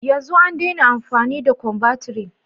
Yanzu an daina amfani da combantrin.